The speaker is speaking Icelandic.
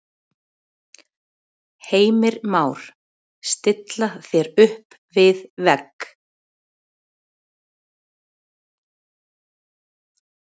Heimir Már: Stilla þér upp við vegg?